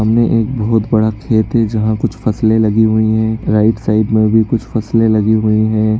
सामने एक बहुत बड़ा खेत है जहाँ कुछ फसलें लगी हुई हैं राइट साइड में भी कुछ फसलें लगी हुई हैं।